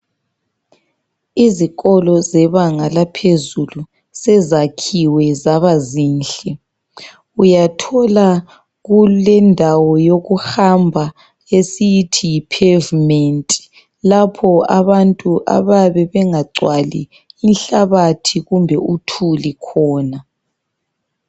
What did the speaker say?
Izikolo zebanga laphezulu, sezakhiwe zabazinhle. Uyathola kulendawo yokuhamba esiyithi Yi pavement. Lapho abantu abayabe bengagcwali inhlabathi kumbe uthuli khona.